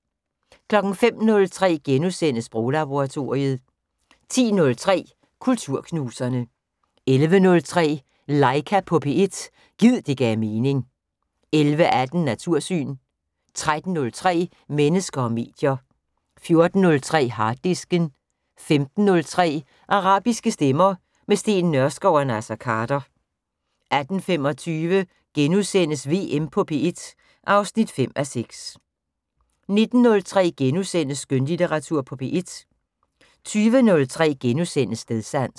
05:03: Sproglaboratoriet * 10:03: Kulturknuserne 11:03: Laika på P1 - gid det gav mening 11:18: Natursyn 13:03: Mennesker og medier 14:03: Harddisken 15:03: Arabiske stemmer - med Steen Nørskov og Naser Khader 18:25: VM på P1 (5:6)* 19:03: Skønlitteratur på P1 * 20:03: Stedsans *